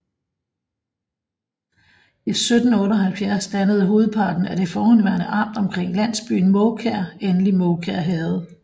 I 1778 dannede hovedparten af det forhenværende amt omkring landsbyen Mårkær endelig Mårkær Herred